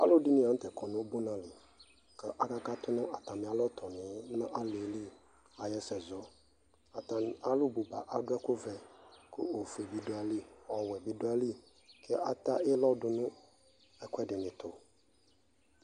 ɔlʋdi lantɛ kɔnʋ ʋdʋnʋ alɔ kʋ aka katʋ nʋ atami alɔtɔniɛ nʋ aliɛli ayi ɛsɛ zɔ, atani adʋ ɛkʋ vɛ kʋ ɔƒʋɛ bi dʋ ayili, ɔwɛ bi dʋ ayili, ɛdiɛ ata ilɔ dʋnʋ ɛkuɛdini tʋ